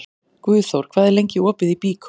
Guðþór, hvað er lengi opið í Byko?